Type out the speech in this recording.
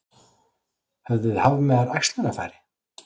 Höfðu hafmeyjar æxlunarfæri?